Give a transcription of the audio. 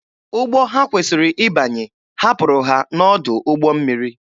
Ụgbọ ha kwesịrị ịbanye hapụrụ ha n'ọdụ ụgbọ mmiri.